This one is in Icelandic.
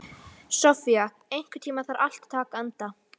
Sofía, einhvern tímann þarf allt að taka enda.